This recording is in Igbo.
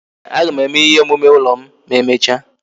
Ee, aga m eme ihe omume ụlọ m na-emecha